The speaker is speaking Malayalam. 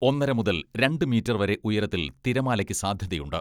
ഒന്നര മുതൽ രണ്ട് മീറ്റർ വരെ ഉയരത്തിൽ തിരമാലയ്ക്ക് സാധ്യതയുണ്ട്.